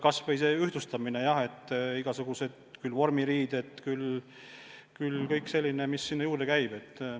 Kas või see ühtlustamine – küll vormiriided, küll kõik muu, mis sinna juurde käib.